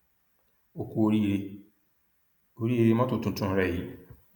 ó ku oríire oríire mọtò tuntun rẹ yìí